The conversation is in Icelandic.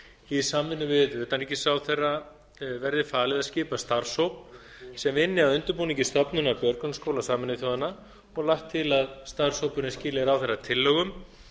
í samvinnu við utanríkisráðherra verði falið að skipa starfshóp sem vinni að undirbúningi stofnunar björgunarskóla sameinuðu þjóðanna og lagt til að starfshópurinn skili ráðherra tillögum